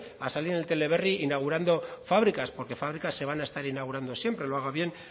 a salir en el teleberri inaugurando fábricas porque fabricas se van a estar inaugurando siempre lo haga bien